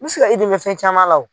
N mi se ka i dɛmɛ fɛn caman la